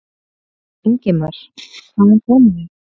Ingimar: Hvaðan komið þið?